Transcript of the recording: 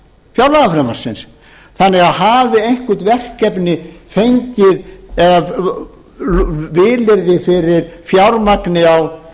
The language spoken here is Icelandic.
fjárlagafrumvarpsins þannig að hafi eitthvert verkefni fengið vilyrði fyrir fjármagni á